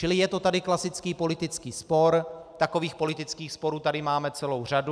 Čili je to tady klasický politický spor, takových politických sporů tady máme celou řadu.